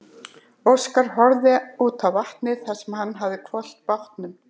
Óskar horfði út á vatnið þar sem hann hafði hvolft bátnum.